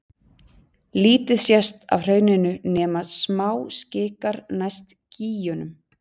Lítið sést af hrauninu nema smáskikar næst gígunum.